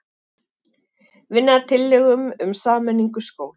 Vinna að tillögum um sameiningu skóla